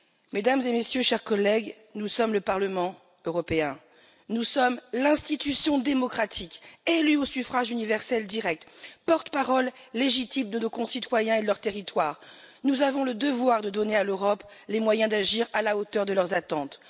Mesdames et messieurs, chers collègues, nous sommes le Parlement européen, nous sommes l'institution démocratique élue au suffrage universel direct, porte parole légitime de nos concitoyens et de leurs territoires, nous avons le devoir de donner à l'Europe les moyens d'agir à la hauteur de leurs attentes.